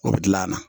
O bɛ dilan a na